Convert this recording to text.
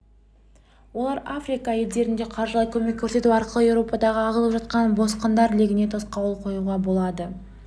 олар африка елдеріне қаржылай көмек көрсету арқылы еуропаға ағылып жатқан босқындар легіне тосқауыл қоюға болады